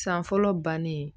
San fɔlɔ bannen